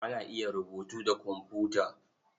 Ana iya rubutu da komfuta.